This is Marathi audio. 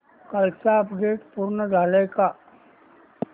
कालचं अपडेट पूर्ण झालंय का